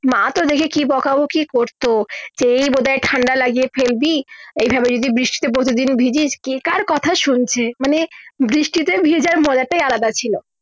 মা তো দেখে কি বোকা বোকি করতো সে বোধা হয় ঠাণ্ডা লাগিয়ে ফেলবি এই ভাবে যদি বৃষ্টিতে প্রতিদিন ভিজিস কে কার কথা শুনছে মানে বৃষ্টিতে ভেজা মাজাটাই আলাদা ছিলো